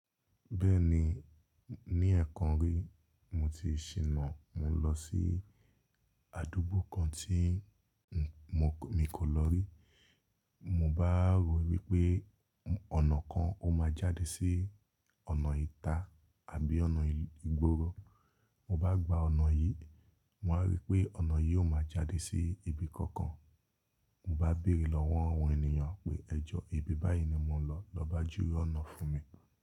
Bẹ́ẹ̀ni, ní ẹ̀ẹ̀kan rí mo ti ṣìnà, mo lọ sí àdúgbò kan tí mi kò lọ rí. Mo bá rò wípé ọ̀nà kan ó máa jáde sí ọ̀nà ìta àbí ọ̀nà ìgbooro. Mo bá gba ọ̀nà yìí, mo wa rí pé ọ̀nà yìí ó máa jáde sí ibi kankan. Mo bá bèrè lọ́wọ́ àwọn ènìyàn pé ẹ̀jọ́ ibi báyìí ni mo ń lọ, lọ bá júwe ọ̀nà fún mi.